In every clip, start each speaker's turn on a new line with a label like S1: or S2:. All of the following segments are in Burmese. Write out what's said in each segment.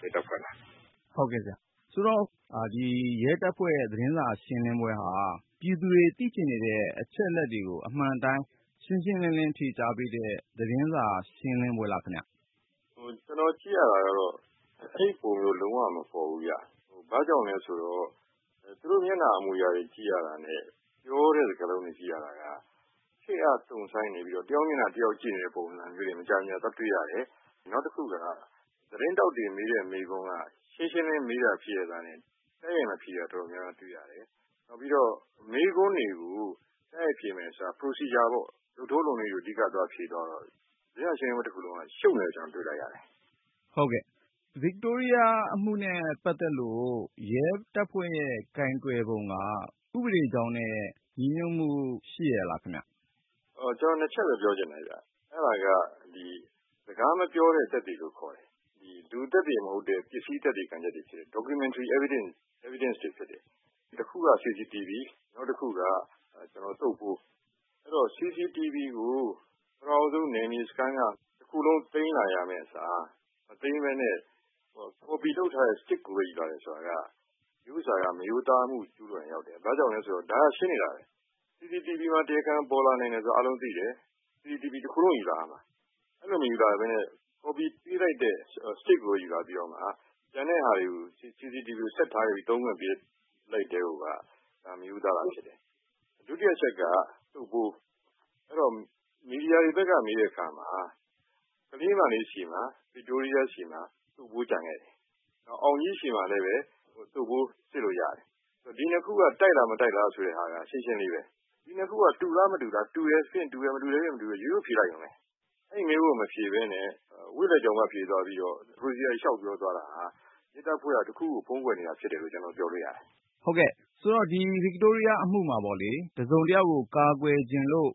S1: ရဲတပ်ဖွဲ့က။
S2: ဒီ ရဲတပ်ဖွဲ့ သတင်းစာ ရှင်းလင်းပွဲဟာ ပြည်သူတွေ သိချင်နေတဲ့ အချက်တွေကို အမှန်အတိုင်း ရှင်းရှင်းလင်းလင်း ဖြေကြားပေးတဲ့ သတင်းစာ ရှင်းလင်းပွဲလားခင်ဗျာ။
S1: ကျနော်ကြည့်ရတာကတော့ အဲလိုမျိုး လုံးဝမပေါ်ဘူးခင်ဗျ။ ဘာကြောင့်လဲဆိုတော့ သူတို့ မျက်နှာအမူအရာတွေကြည့်ရတာနဲ့ ပြောတဲ့ စကားလုံးတွေ ကြည့်ရတာက တုံ့ဆိုင်းနေပြီးတော့ တယောက်မျက်နှာ တယောက်ကြည့်တဲ့ ပုံစံမျိုးတွေ မကြာခဏတွေ့ရတယ်။ နောက်တခုက သတင်းထောက်တွေ မေးတဲ့မေးခွန်းက ရှင်းရှင်းလင်းလင်းမေးတာဖြစ်ရဲ့သားနဲ့ တိုက်ရိုက်မဖြေတာ တော်တော်များများတွေ့ရတယ်။ နောက်ပြီးတော့ လုပ်ထုံးလုပ်နည်း procedure ကို အဓိက ဖြေသွားတာ တွေ့ရတယ်။ သတင်းစာ ရှင်းလင်းပွဲတခုလုံးက ရှုပ်နေတာကို ကျနော်တို့ တွေ့လိုက်ရတယ်။
S2: ဟုတ်ကဲ့။ ဗစ်တိုးရီးယား အမှုနဲ့ပတ်သက်လို့ ရဲတပ်ဖွဲ့ရဲ့ ကိုင်တွယ်ပုံက ဥပဒေကြောင်းနဲ့ ညီညွတ်မှု ရှိရဲ့လားခင်ဗျား။
S1: ကျနော် ၂ ချက်ပဲ ပြောချင်တယ်ခင်ဗျ ။ အဲဒါက စကားမပြောတဲ့ သက်သေလို့ ခေါ်တယ် လူသက်သေမဟုတ်တဲ့ ပစ္စည်း သက်သေတွေဖြစ်တဲ့ Documentary Evidence တွေဖြစ်တယ်။ တခုက CCTV နောက်တခုက သုတ်ပိုး။ CCTV ကို ပထမဦးဆုံး နယ်မြေစခန်းက တခုလုံး သိမ်းလာရမယ့်အစား မသိမ်းပဲနဲ့ copy လုပ်ထားတဲ့ stick ကိုပဲ ယူလာတယ်ဆိုတာက မရိုးသားမှု ကျူးလွန်ရာရောက်တယ်။ ဘာကြောင့်လဲဆိုတော့ ဒါကရှင်းနေတာပဲ CCTV မှာ တရားခံပေါ်လာနိုင်တယ်ဆိုတာ အားလုံးသိတယ်။ CCTV တခုလုံးယူလာရမှာ အဲလိုမယူလာပဲနဲ့ copy ပေးလိုက်တဲ့ Stick ကိုပဲ ယူလာတယ် ကျန်တဲ့ဟာတွေ CCTVကို ဆက်ထားပြီး သုံးခွင့်ပေးလိုက်ကတည်းကိုက ဒါမရိုးသားတာဖြစ်တယ်။ ဒုတိယအချက်က သုတ်ပိုး မီဒီယာတွေဘက်က မေးတဲ့အခါမှာ ကလေးမလေး ဗစ်တိုးရီးယားဆီမှာ သုတ်ပိုး ကျန်ခဲ့တယ်။ အောင်ကြီးဆီမှာလည်း သုတ်ပိုး စစ်လို့ရတယ်။ ဆိုတော့ ဒီ ၂ ခုက တိုက်လား၊ မတိုက်လားဆိုတာကတော့ ရှင်းရှင်းလေးပဲ။ ဒီ နှစ်ခုက တူတယ် ၊ မတူဘူးဆိုတာကို ရိုးရိုးဖြေလိုက်ရုံပဲ။ အဲဒီမေးခွန်းကို မဖြေပဲနဲ့ ဝေ့လည်ကြောင်ပတ်ဖြေသွားပြီးတော့ မလိုတာတွေ လျှောက်ပြောသွားတာဟာ ရဲတပ်ဖွဲ့က တခုခု ဖုံးကွယ်နေတာဖြစ်တယ်လို့ ကျနော်ပြောလို့ရတယ်။
S2: ဆိုတော့ ဒီဗစ်တိုးရီးယားအမှုမှာပေါ့လေ၊ တစုံတယောက်ကို ကာကွယ်ချင်လို့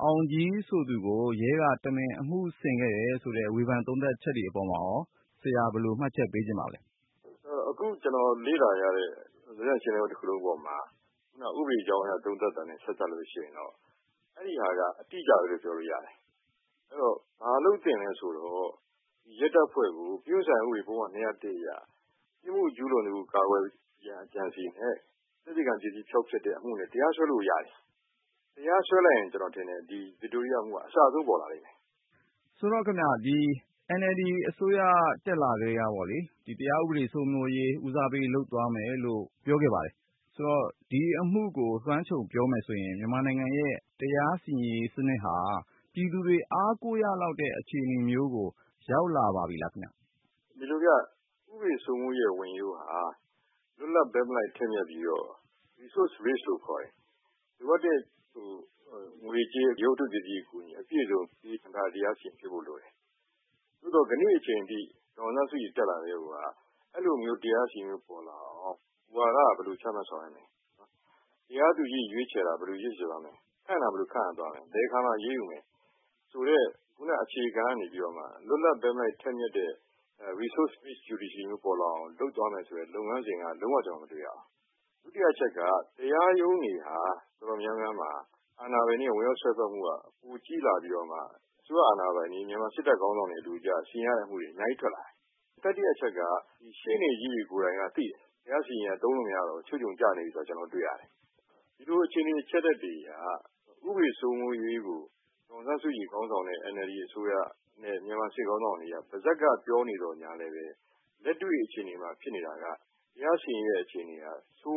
S2: အောင်ကြီးဆိုသူကို ရဲက တမင် အမှုဆင်ခဲ့တာလို့ ဝေဖန် သုံးသပ်ချက်တွေ အပေါ်မှာရော ဆရာ ဘယ်လိုမှတ်ချက် ပေးချင်ပါသလဲ။
S1: အခုကျနော်လေ့လာရတဲ့ သတင်းစာရှင်းလင်းပွဲတခုလုံးအပေါ်မှာ ခုနက ဥပဒေကြောင်းအရ သုံးသပ်တာနဲ့ ဆက်စပ်ရင်တော့ အဲဒါက အတိအကျပဲလို့ ပြောလို့ ရတယ်။ ဘာလုပ်သင့်သလဲဆိုတော့ ရဲတပ်ဖွဲ့ကို ပြစ်မှုဆိုင်ရာဥပဒေပုဒ်မ ၂၀၁ အရ ပြစ်မှု ကျူးလွှန်သူကို ကာကွယ်ရန်အကြံအစည်နဲ့ သက်သေခံပစ္စည်း ဖျောက်ဖျက်တဲ့အမှုနဲ့ တရားစွဲလို့ရတယ်။ တရားစွဲလိုက်ရင် ကျနော်ထင်တယ် ဒီဗစ်တိုးရီးယားအမှုက အစအဆုံးပေါ်လာလိမ့်မယ်။
S2: ဒီ NLD အစိုးရ တက်လာကတည်းက တရားဥပဒေ စိုးမိုးရေး ဦးစားပေးလုပ်သွားမယ်လို့ ပြောခဲ့ပါတယ်။ ဒီအမှုကို လွှမ်းခြုံပြောရင် မြန်မာနိုင်ငံရဲ့ တရားစီရင်ရေး စနစ်ဟာ ပြည်သူတွေ အားကိုးရလောက်တဲ့ အခြေအနေမျိုးကို ရောက်လာပါပြီလား ခင်ဗျား ။
S1: ဒီလိုဗျ ဥပဒေစိုးမိုးရေးရဲ့ ဝင်ရိုးဟာ လွတ်လပ်၊ ဘက်မလိုက်၊ ထက်မြက်ပြီးတော့ Resources based လို့ခေါ်တဲ့ လိုအပ်တဲ့ ငွေကြေး၊ ရုပ်ဝတ္ထုပစ္စည်း အကူအညီအပြည့်အစုံ ဖြည့်ဆည်းခံထားရတဲ့ တရားစီရင်ရေး ဖြစ်ဖို့လိုတယ်။ သို့သော် ကနေ့အချိန်ထိ ဒေါ်အောင်ဆန်းစုကြည် တက်လာကတည်းကိုက အဲလိုမျိုး တရားစီရင်ရေးမျိုး ပေါ်လာအောင် မူဝါဒက ဘယ်လိုချမှတ် ဆောင်ရွက်မလဲ နော်၊ တရားသူကြီးတွေ ရွေးချယ်ရာမှာ ဘယ်လိုရွေးချယ်သွားမလဲ၊ ခန့်တာ ဘယ်လိုခန့်မလဲ၊ ဘယ်အခါမှာ အရေးယူမလဲ ဆိုတဲ့အခြေခံကနေပြီးတော့မှ လွတ်လပ် ဘက်မလိုက် ထက်မြက်တဲ့ Resources based judiciary မျိုးပေါ်လာအောင် လုပ်သွားမယ်ဆိုတဲ့ လုပ်ငန်းစဉ်က လုံးဝ ကျနော် မတွေ့ရဘူး။ ဒုတိယအချက်က တရားရုံးတွေ တော်တော်များများမှာ အာဏာပိုင်တွေရဲ့ ဝင်ရောက်စွက်ဖက်မှုက ပိုကြီးလာပြီးတော့မှ အစိုးရအာဏာပိုင်တွေ မြန်မာစစ်တပ်ခေါင်းဆောင်တွေ အလိုကျ စီရင်ရတဲ့အမှုတွေ အများကြီး ထွက်လာတယ်။ တတိယ အချက်က ဒီရှေ့နေကြီးတွေ ကိုယ်တိုင်ကသိတယ်၊ တရားစီရင်ရေးဟာ သုံးလို့မရတော့ဘူး ချွတ်ခြုံကျနေပြီဆိုတာ ကျနော်တို့တွေ့ရတယ်။ ဒီလိုအခြေအနေ အချက်အလက်တွေအရ ဥပေဒစိုးမိုးရေးကို ဒေါ်အောင်ဆန်းစုကြည် ခေါင်းဆောင်တဲ့ NLD အစိုးရနဲ့ မြန်မာစစ်ခေါင်းဆောင် တွေက ပါးစပ်ကပြောနေသော်လည်း လက်တွေ့အခြေအနေမှာ ဖြစ်နေတာက တရားစီရင်ရေးရဲ့အခြေအနေဟာ ဆိုး